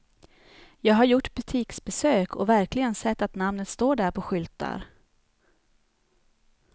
Jag har gjort butiksbesök och verkligen sett att namnet står där på skyltar.